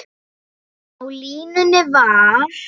Á línunni var